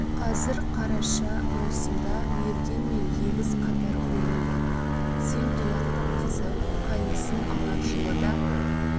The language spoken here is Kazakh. қазір қараша маусымда мерген мен егіз қатар көрініп отыр сен тұяқтың қызы қайнысын алар жылы да